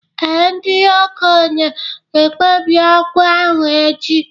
Ee, ndị okenye ga-ekpebi okwu ahụ echi